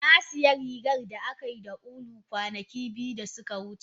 Na sayi rigar da aka yi da ulu kwanaki biyu da suka wuce.